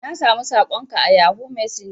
Na samu sakon ka a yahoo messenger.